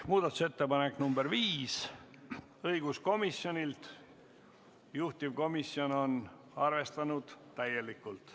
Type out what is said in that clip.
Muudatusettepanek nr 5 on õiguskomisjonilt, juhtivkomisjon on arvestanud seda täielikult.